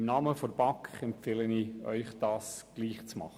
Im Namen der BaK empfehle ich Ihnen, dies ebenso zu tun.